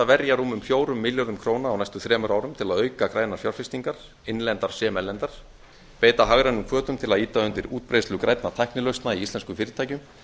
verja rúmum fjórum milljörðum króna á næstu þremur árum til að auka grænar fjárfestingar innlendar sem erlendar beita hagrænum hvötum til að ýta undir útbreiðslu grænna tæknilausna í íslenskum fyrirtækjum